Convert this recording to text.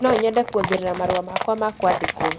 no nyende kuongerera marũa makwa ma kũandĩkwo